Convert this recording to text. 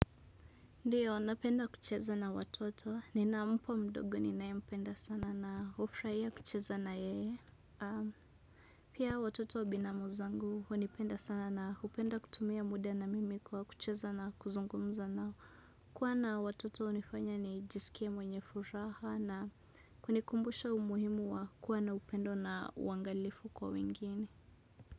Ndiyo, napenda kucheza na watoto, nina mpwa mdogo ninaempenda sana na hufurahia kucheza na yeye. Pia watoto binamu zangu, hunipenda sana na hupenda kutumia muda na mimi kwa kucheza na kuzungumza na kuwa na watoto hunifanya nijisikie mwenye furaha na kunikumbusha umuhimu wa kuwa na upendo na uangalifu kwa wengine.